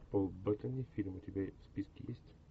пол беттани фильм у тебя в списке есть